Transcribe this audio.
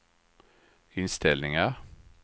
inställningar